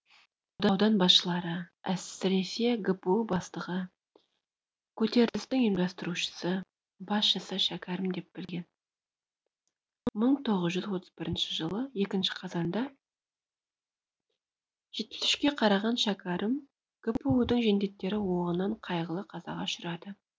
аудан басшылары әсіресе гпу бастығы көтерілістің ұйымдастырушысы басшысы шәкәрім деп білген мың тоғыз жүз отыз бірінші жылы екінші қазанда жетпіс үшке қараған шәкәрім гпу дың жендеттері оғынан қайғылы қазаға ұшырады